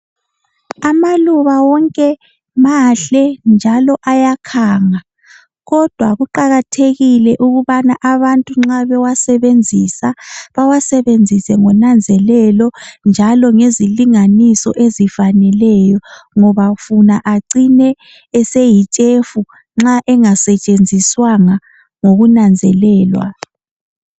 Amaluba wonke mahle njalo ayakhanga, kodwa kuqakathekile ukubana abantu nxa bewasebenzisa bawasebenzise ngonanzelelo njalo ngezilinganiso ezifanelo ngoba funa acine eseyitshefu nxa engasetshenziswanga ngokunanzelelwa.